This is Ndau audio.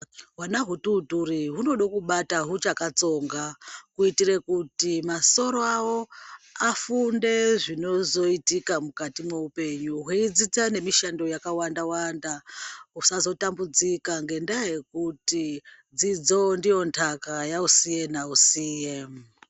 Hwana hutootori hunode kubata huchakatsonga kuitire kuti masoro avo afunde zvinozoitika mukati mweupenyu. Hweidzidza nemishando yakawanda-wanda. Husazotambudzika ngendaa yekuti dzidzo ndiyo ntaka yausiye nausiye.